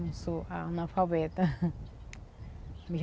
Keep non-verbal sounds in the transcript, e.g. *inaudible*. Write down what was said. Não sou analfabeta. *laughs*